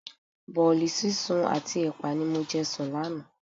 Bọ̀ọ̀li sísun àti ẹpa ni mo jẹ sùn lánàá.